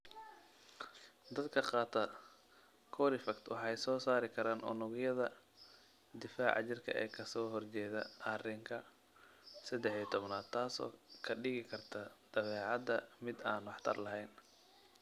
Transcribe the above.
Dadka qaata Corifact waxay soo saari karaan unugyada difaaca jirka ee ka soo horjeeda arinka sedex iyo tobnad taasoo ka dhigi karta badeecada mid aan waxtar lahayn.